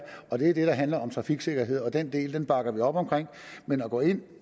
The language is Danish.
og det er det der handler om trafiksikkerhed og den del bakker vi op om men at gå ind og